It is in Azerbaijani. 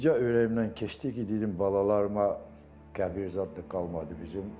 Bircə ürəyimdən keçdi ki, dedim balalarıma qəbir zad da qalmadı bizim.